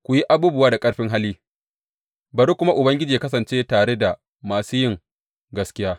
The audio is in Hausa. Ku yi abubuwa da ƙarfin hali, bari kuma Ubangiji yă kasance tare da masu yin gaskiya.